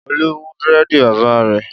Olú mú búrẹ́dì bàbá rẹ̀?